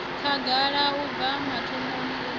khagala u bva mathomoni u